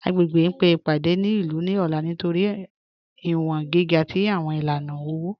Agbègbè ń pe ipádé ilú ní ọ̀là nítorí iwọ̀n gíga tí awọn ilànà owo